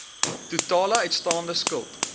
totale uitstaande skuld